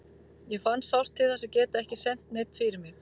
Ég fann sárt til þess að geta ekki sent neinn fyrir mig.